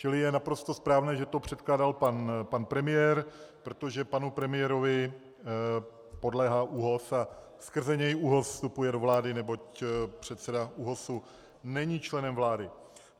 Čili je naprosto správné, že to předkládal pan premiér, protože panu premiérovi podléhá ÚOHS a skrze něj ÚOHS vstupuje do vlády, neboť předseda ÚOHS není členem vlády.